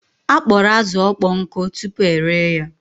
A kpọrọ azụ ọkpọ nkụ tupu ere ya